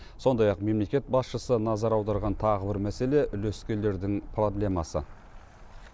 сондай ақ мемлекет басшысы назар аударған тағы бір мәселе үлескерлердің проблемасы